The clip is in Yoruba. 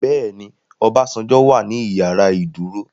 Bẹ́ẹ̀ni Obasanjo wà ní ìyàrá ìdúró.